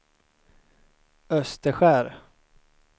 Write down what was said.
Österskär